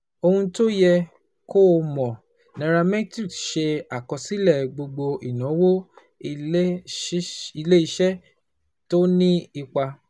Ohun tó yẹ kó o mọ̀: nairametrics ṣe àkọsílẹ̀ gbogbo ìnáwó ilé iṣẹ́ tó ní ipa